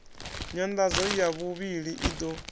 nyanḓadzo ya vhuvhili i ḓo